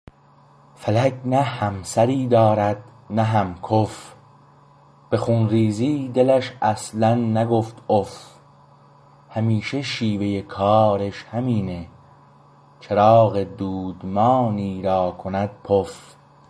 فلک نه همسر ی دارد نه هم کف به خون ریز ی دلش اصلا نگفت اف همیشه شیوه کارش همینه چراغ دودمانی را کند پف